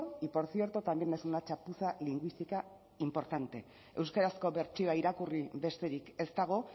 y por cierto también es una chapuza lingüística importante euskarazko bertsioa irakurri besterik ez dago